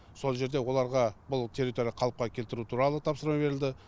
сол жерде оларға бұл территория қалыпқа келтіру туралы тапсырма берілді